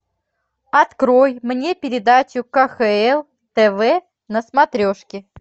открой мне передачу кхл тв на смотрешке